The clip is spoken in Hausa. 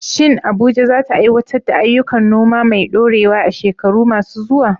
Shin Abuja za ta aiwatar da ayyukan noma mai ɗorewa a shekaru masu zuwa?